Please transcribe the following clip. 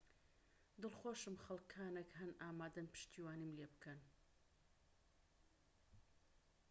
دڵخۆشم خەلکانك هەن ئامادەن پشتیوانیم لێبکەن